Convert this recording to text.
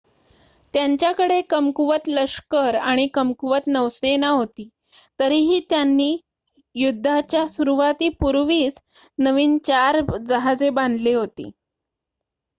त्यांच्याकडे कमकुवत लष्कर आणि कमकुवत नौसेना होती तरीही त्यांनी युद्धाच्या सुरूवातीपूर्वीच नवीन 4 जहाजे बांधली होती